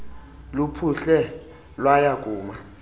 luphuhle lwaya kuma